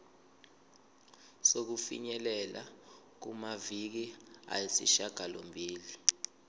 sokufinyelela kumaviki ayisishagalombili